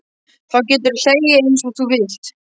Þá geturðu hlegið einsog þú vilt.